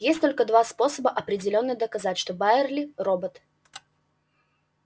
есть только два способа определённо доказать что байерли робот